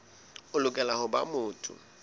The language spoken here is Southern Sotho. o lokela ho ba motho